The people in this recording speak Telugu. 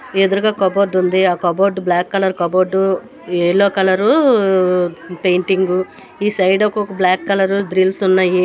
ఎదురుగా కబోర్డు ఉంది ఆ cupboard black colour cupboard yellow colour painting ఈ సైడ్ ఒక బ్లాక్ కలరు గ్రిల్స్ ఉన్నాయి.